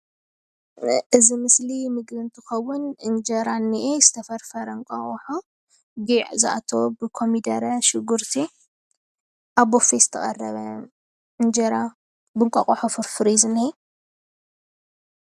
እዚ ምስሊ ምግቢ እንትከውን እንጀራ እንሄ ዝተፈርፈረ እንቋቆሖ ጉዕ ፣ኮሚዴሬ ፣ሽጉርቲ ዝአተዎ ኣብ ቡፌ ዝተቀረበ እንጀራ ብእንቋቆሖ ፍርፍር እዩ ዝነሄ።